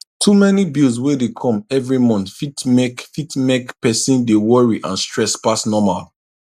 too many bills wey dey come every month fit mek fit mek person dey worry and stress pass normal